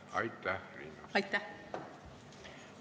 Aitäh, Riina!